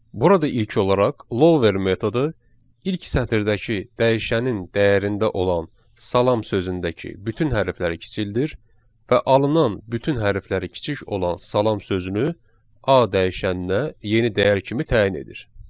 Burada ilk olaraq lower metodu ilk sətirdəki dəyişənin dəyərində olan salam sözündəki bütün hərfləri kiçildir və alınan bütün hərfləri kiçik olan salam sözünü A dəyişənində yeni dəyər kimi təyin edir.